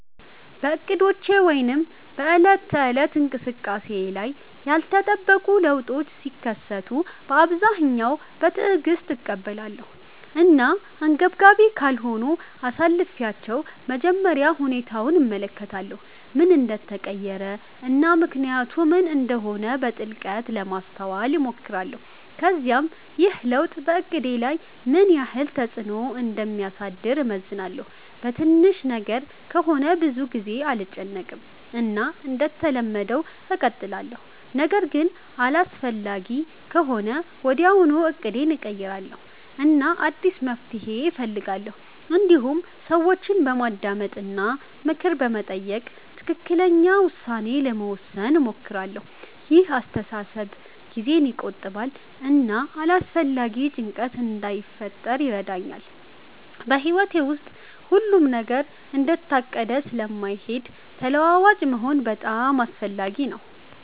በእቅዶቼ ወይም በዕለት ተዕለት እንቅስቃሴዬ ላይ ያልተጠበቁ ለውጦች ሲከሰቱ በአብዛኛው በትዕግስት እቀበላለሁ እና አንገብጋቢ ካልሆነ አሳልፊቻለሁ መጀመሪያ ሁኔታውን እመለከታለሁ ምን እንደተቀየረ እና ምክንያቱ ምን እንደሆነ በጥልቀት ለማስተዋል እሞክራለሁ ከዚያም ይህ ለውጥ በእቅዴ ላይ ምን ያህል ተፅዕኖ እንደሚያሳድር እመዝናለሁ በትንሽ ነገር ከሆነ ብዙ ጊዜ አልጨነቅም እና እንደተለመደው እቀጥላለሁ ነገር ግን አስፈላጊ ከሆነ ወዲያውኑ እቅዴን እቀይራለሁ እና አዲስ መፍትሔ እፈልጋለሁ እንዲሁም ሰዎችን በማዳመጥ እና ምክር በመጠየቅ ትክክለኛ ውሳኔ ለመውሰድ እሞክራለሁ ይህ አስተሳሰብ ጊዜን ይቆጥባል እና አላስፈላጊ ጭንቀት እንዳይፈጥር ይረዳኛል በሕይወት ውስጥ ሁሉም ነገር እንደታቀደ ስለማይሄድ ተለዋዋጭ መሆን በጣም አስፈላጊ ነው